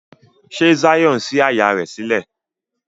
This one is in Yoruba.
Ṣe Zion sí àyá rẹ sílẹ̀?